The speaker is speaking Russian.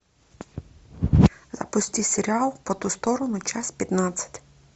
запусти сериал по ту сторону часть пятнадцать